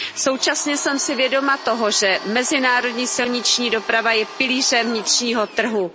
Současně jsem si vědoma toho, že mezinárodní silniční doprava je pilířem vnitřního trhu.